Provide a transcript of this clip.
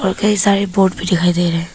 और कई सारे बोर्ड भी दिखाई दे रहे--